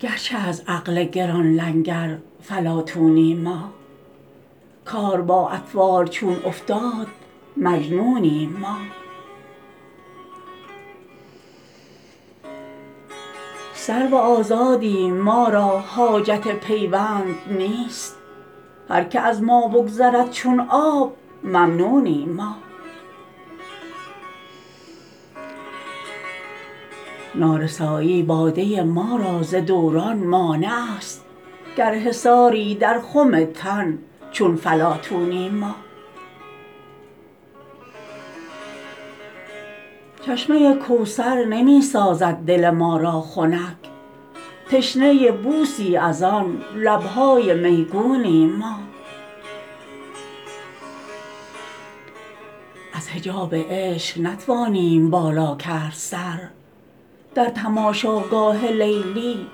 گرچه از عقل گران لنگر فلاطونیم ما کار با اطفال چون افتاد مجنونیم ما سرو آزادیم ما را حاجت پیوند نیست هر که از ما بگذرد چون آب ممنونیم ما نارسایی باده ما را ز دوران مانع است گر حصاری در خم تن چون فلاطونیم ما چشمه کوثر نمی سازد دل ما را خنک تشنه بوسی از آن لبهای میگونیم ما از حجاب عشق نتوانیم بالا کرد سر در تماشاگاه لیلی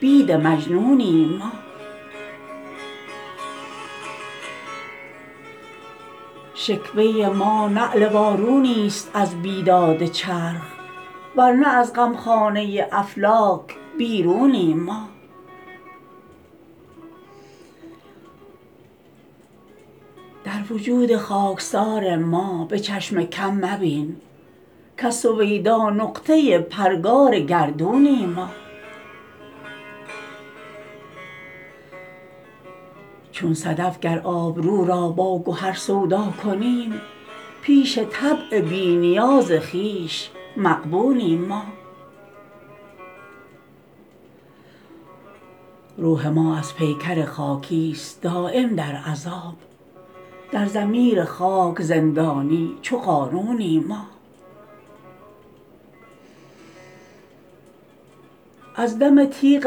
بید مجنونیم ما شکوه ما نعل وارونی است از بیداد چرخ ورنه از غمخانه افلاک بیرونیم ما در وجود خاکسار ما به چشم کم مبین کز سویدا نقطه پرگار گردونیم ما چون صدف گر آبرو را با گهر سودا کنیم پیش طبع بی نیاز خویش مغبونیم ما روح ما از پیکر خاکی است دایم در عذاب در ضمیر خاک زندانی چو قارونیم ما از دم تیغ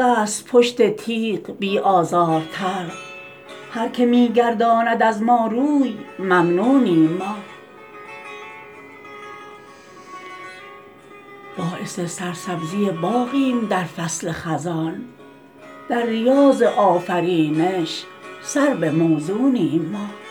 است پشت تیغ بی آزارتر هر که می گرداند از ما روی ممنونیم ما باعث سرسبزی باغیم در فصل خزان در ریاض آفرینش سرو موزونیم ما